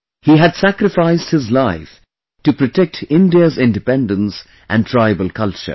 He had sacrificed his life to protect India's independence and tribal culture